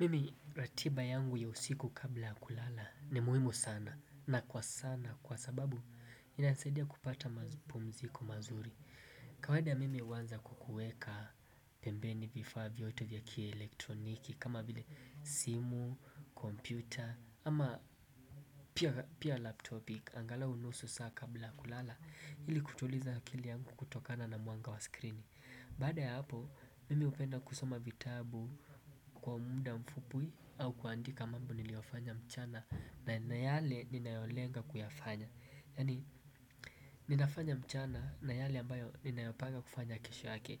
Mimi ratiba yangu ya usiku kabla ya kulala ni muhimu sana na kwa sana kwa sababu inanisaidia kupata mapumziko mazuri. Kawada mimi huwanza kwa kuweka pembeni vifaa vyote vya kia elektroniki kama vile simu, kompiyuta ama pia laptopi angalau nusu saa kabla kulala ili kutuliza akili yangu kutokana na mwanga wa screen. Baada ya hapo mimi hupenda kusoma vitabu kwa muda mfupwi au kuandika mambo niliyofanya mchana na yale ninayolenga kuyafanya yani ninafanya mchana na yale ambayo ninayopanga kufanya kesho yake.